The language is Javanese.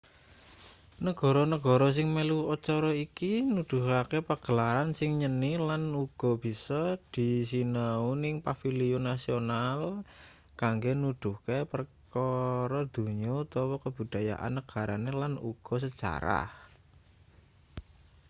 negara-negara sing melu acara iki nuduhake pagelaran sing nyeni lan uga bisa disinau ning paviliun nasional kanggo nuduhke perkara donya utawa kabudayan negarane lan uga sejarah